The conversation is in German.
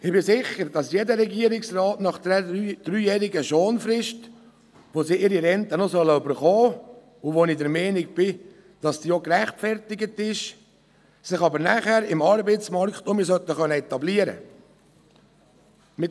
Ich bin sicher, dass jeder Regierungsrat nach einer dreijähriger Schonfrist, während der er die Rente noch erhalten soll – ich der Meinung bin, dies sei gerechtfertigt –, sich danach im Arbeitsmarkt wieder etablieren können sollte.